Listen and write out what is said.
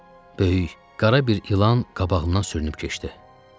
Böyük, qara bir ilan qabağımdan sürünüb keçdi.